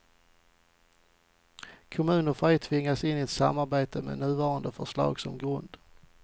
Kommuner får ej tvingas in i ett samarbete med nuvarande förslag som grund.